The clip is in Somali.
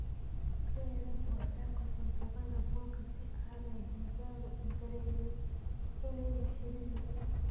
Iska yaree buuxdhaafka santuuqyada buulka si aanay digaagadu u dareemin in ay xidhan yihiin.